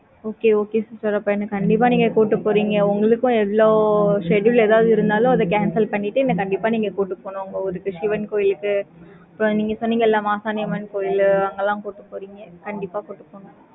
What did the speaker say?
okay okay sister கண்டிப்பா நீங்க கூட்டிட்டு போறீங்க. உங்களுக்கும் எவ்ளோ schedule ஏதாவது இருந்தாலும், அதை cancel பண்ணிட்டு, என்னை கண்டிப்பா நீங்க கூட்டிட்டு போகனும். உங்க ஊருக்கு, சிவன் கோயிலுக்கு, இப்ப நீங்க சொன்னீங்கல்ல, மாசாணியம்மன் கோயில், அங்கெல்லாம் கூட்டிட்டு போறீங்க. கண்டிப்பா கூட்டிட்டு போங்க